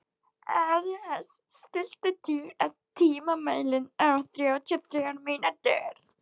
Ares, stilltu tímamælinn á þrjátíu og þrjár mínútur.